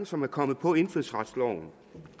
som er kommet på indfødsretsloven